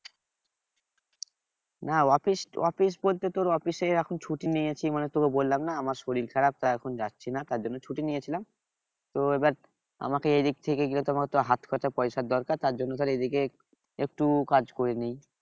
না office office বলতে তোর office এ এখন ছুটি নিয়েছি মানে তোকে বললাম না আমার শরীর খারাপ তাই এখন যাচ্ছি না তার জন্য ছুটি নিয়েছিলাম তো এবার আমাকে এদিক থেকে গেলে তো আমাকে হাত খরচার পয়সা দরকার তার জন্য ধর এদিকে একটু কাজ করে নেই